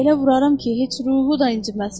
Elə vuraram ki, heç ruhu da inciməz.